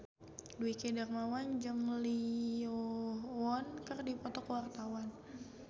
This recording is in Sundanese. Dwiki Darmawan jeung Lee Yo Won keur dipoto ku wartawan